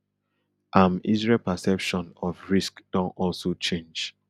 am israel perception of risk don also change